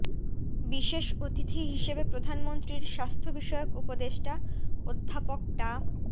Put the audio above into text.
বিশেষ অতিথি হিসেবে প্রধানমন্ত্রীর স্বাস্থ্য বিষয়ক উপদেষ্টা অধ্যাপক ডা